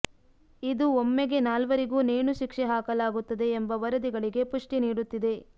ಇದು ಒಮ್ಮೆಗೆ ನಾಲ್ವರಿಗೂ ನೇಣು ಶಿಕ್ಷೆ ಹಾಕಲಾಗುತ್ತದೆ ಎಂಬ ವರದಿಗಳಿಗೆ ಪುಷ್ಟಿ ನೀಡುತ್ತಿದೆ